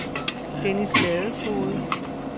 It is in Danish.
Dennis Ladefoged